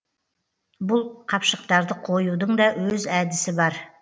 бұл қапшықтарды қоюдың да өз әдісі бар